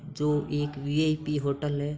जो एक VIP hotel है।